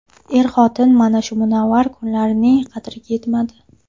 Er-xotin mana shu munavvar kunlarining qadriga yetmadi.